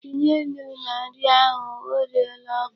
Tinye nnu na nri ahụ. O reela oku.